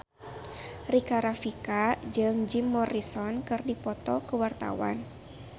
Rika Rafika jeung Jim Morrison keur dipoto ku wartawan